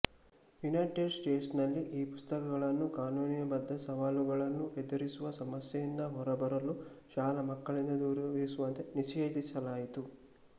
United States ನಲ್ಲಿ ಈ ಪುಸ್ತಕಗಳನ್ನು ಕಾನೂನು ಬದ್ದ ಸವಾಲುಗಳನ್ನು ಎದುರಿಸುವ ಸಮಸ್ಯೆಯಿಂದ ಹೊರಬರಲು ಶಾಲಾ ಮಕ್ಕಳಿಂದ ದೂರವಿರಿಸುವಂತೆ ನಿಷೇಧಿಸಲಾಯಿತು